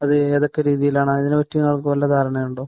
അത് ഏതൊക്കെ രീതിയിലാണ്? അതിനെ പറ്റി നിങ്ങൾക്ക് വല്ല ധാരണയുണ്ടോ?